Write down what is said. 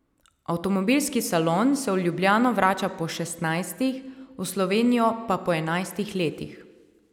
Avtomobilski salon se v Ljubljano vrača po šestnajstih, v Slovenijo pa po enajstih letih.